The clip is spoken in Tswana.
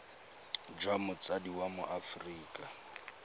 jwa motsadi wa mo aforika